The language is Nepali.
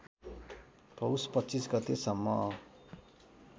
पौष २५ गतेसम्म